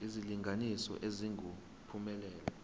isilinganiso esingu uphumelele